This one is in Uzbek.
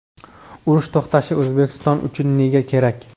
Urush to‘xtashi O‘zbekiston uchun nega kerak?.